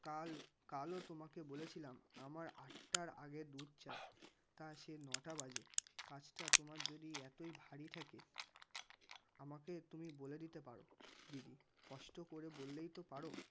কাল কালও তোমাকে বলেছিলাম আমার আটটার আগে দুধ চাই. তা সে নটা বাজে কাজটা তোমার যদি এতই ভারি থাকে, আমাকে তুমি বলে দিতে পারো দিদি স্পষ্ট করে বললেই তো পারো.